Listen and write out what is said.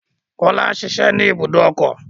Kọ́lá ń ṣiṣẹ́ ní ibùdó ọkọ̀.